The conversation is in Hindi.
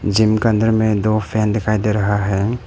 जिम के अंदर में दो फैन दिखाई दे रहा है।